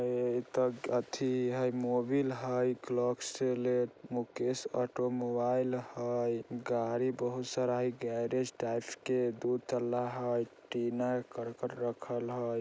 मोबिल हाई Castrol Mukesh automobile हई गाड़ी बहुत सारा हई गैरिज टाइप टीना कड़कड़ रखल हई।